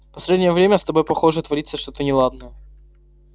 последнее время с тобой похоже творится что-то неладное